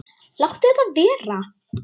Láttu þetta vera!